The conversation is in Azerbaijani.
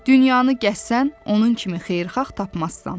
Dünyanı gəzsən, onun kimi xeyirxah tapmazsan.